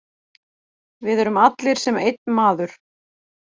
Við erum allir sem einn maður.